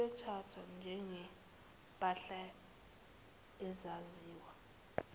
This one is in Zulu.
iyothathwa njengempahla engaziwa